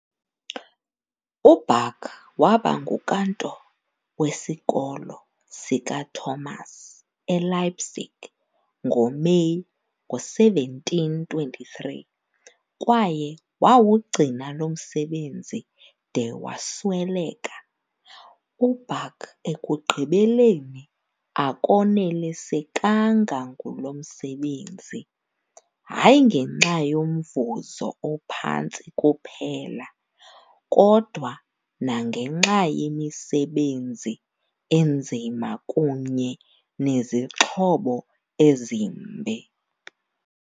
UBach waba nguKantor weSikolo sikaThomas eLeipzig ngoMeyi ngo-1723 kwaye wawugcina lo msebenzi de wasweleka. UBach ekugqibeleni akonelisekanga ngulo msebenzi, hayi ngenxa yomvuzo ophantsi kuphela, kodwa nangenxa yemisebenzi enzima kunye nezixhobo ezimbi.